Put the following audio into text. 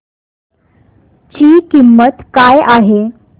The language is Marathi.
ची किंमत काय आहे